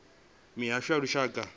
mihasho ya lushaka na ya